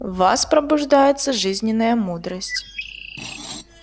в вас пробуждается жизненная мудрость